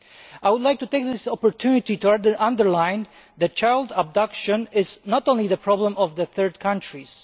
I would like to take this opportunity to underline that child abduction is not only the problem of third countries.